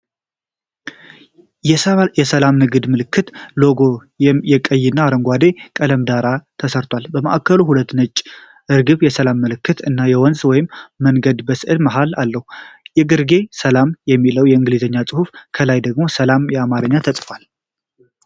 የሰላም የንግድ ምልክት (ሎጎ) ከቀይና አረንጓዴ ቀለም ዳራ ጋር ተሰርቷል። በማዕከሉ ሁለት ነጭ ርግብ (የሰላም ምልክት) እና ወንዝ ወይም መንገድ በስዕሉ መሃል አለው። ከግርጌ “ሰላም” የሚለው የእንግሊዝኛ ጽሑፍ፣ ከላይ ደግሞ "ሰላም" በአማርኛ ተጽፏል።